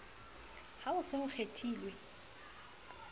ha ho se ho kgethuwe